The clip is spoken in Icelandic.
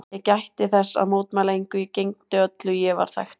Ég gætti þess að mótmæla engu, ég gegndi öllu, ég var þægt barn.